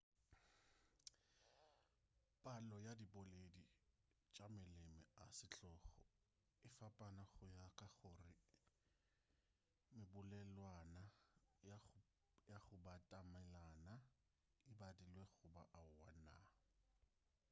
palo ya diboledi tša maleme a setlogo e fapana go ya ka gore mebolelwana ya go batamelana e badilwe goba aowa na